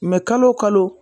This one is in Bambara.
kalo wo kalo.